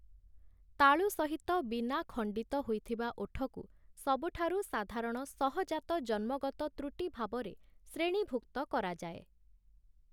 ତାଳୁ ସହିତ ବିନା ଖଣ୍ଡିତ ହୋଇଥିବା ଓଠକୁ ସବୁଠାରୁ ସାଧାରଣ ସହଜାତ ଜନ୍ମଗତ ତ୍ରୁଟି ଭାବରେ ଶ୍ରେଣୀଭୁକ୍ତ କରାଯାଏ ।